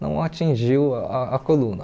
não atingiu a coluna.